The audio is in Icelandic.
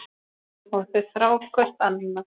Og þau þrá hvort annað.